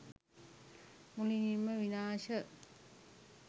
මුළුමනින්ම විනාශ